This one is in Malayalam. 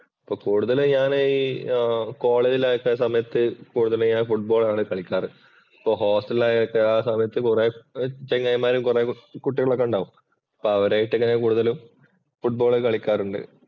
ഇപ്പൊ കൂടുതലും ഞാനീ കോളേജില്‍ ആയിരുന്ന സമയത്ത് കൂടുതൽ ഞാൻ ഫുട്ബോള്‍ ആണ് കളിക്കാറ്. അപ്പോ ഹോസ്റ്റലില്‍ ആയ ഒക്കെ ആ സമയത്ത് കുറെ ചങ്ങാതിമാരും, കുറേ കുട്ടികളൊക്കെ ഉണ്ടാവും അപ്പോ അവരുമായിട്ട് ഇങ്ങനെ കൂടുതലും ഫുട്ബോള്‍ കളിക്കാറുണ്ട്.